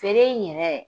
Feere in yɛrɛ